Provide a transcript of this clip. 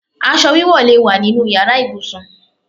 Aṣọ wíwọ̀ lè wá nínu yàrá ibùsùn.